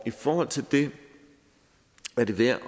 i forhold til det er det værd